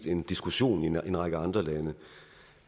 en diskussion i en række andre lande